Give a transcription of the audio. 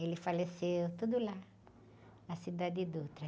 Ele faleceu, tudo lá, na.